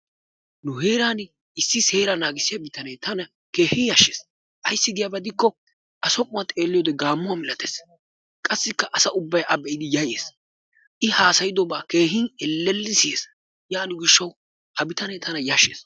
Nu heeran issi seeraa naagissiya bitanne tana keehi yashshees. Ayssi gidiyaba gidikko A som'uwa xeeliyo wode gaammuwa milattees. Qassikka asaa ubbay a be'idi yayyees. I haasayidobaa keehin ellellidi siyees. Yaaniyo gishshawu ha bitane tana yaashees.